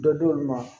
Dɔ di olu ma